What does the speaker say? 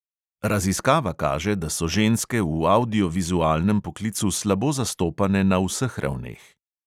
Raziskava kaže, da so ženske v avdiovizualnem poklicu slabo zastopane na vseh ravneh.